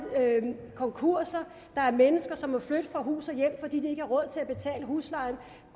konkurser der er mennesker som må flytte fra hus og hjem fordi de ikke har råd til at betale huslejen